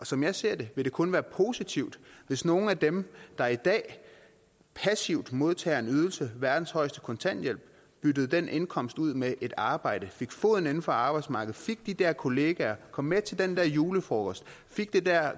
som jeg ser det vil det kun være positivt hvis nogle af dem der i dag passivt modtager en ydelse verdens højeste kontanthjælp byttede den indkomst ud med et arbejde og fik foden indenfor på arbejdsmarkedet fik de der kollegaer kom med til den der julefrokost